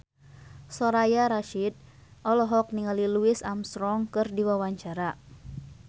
Soraya Rasyid olohok ningali Louis Armstrong keur diwawancara